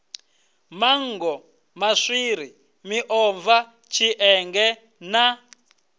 manngo maswiri miomva tshienge na